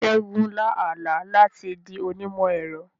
Ṣẹ́gun lá àlá láti di onímọ̀-ẹ̀rọ.